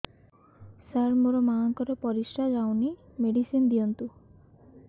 ସାର ମୋର ମାଆଙ୍କର ପରିସ୍ରା ଯାଉନି ମେଡିସିନ ଦିଅନ୍ତୁ